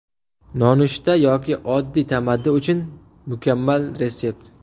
Nonushta yoki oddiy tamaddi uchun mukammal retsept.